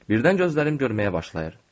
Birdən gözlərim görməyə başlayır.